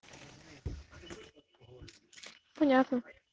понятно